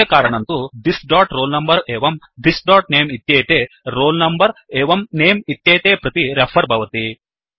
अस्य कारणं तु thisroll numberएवं thisनमे इत्येते roll number एवं nameइत्येते प्रति रेफर् भवति